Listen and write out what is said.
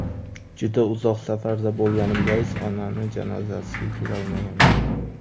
Juda uzoq safarda bo‘lganim bois, onamning janozasiga kelolmaganman.